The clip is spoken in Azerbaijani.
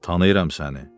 Tanıyıram səni.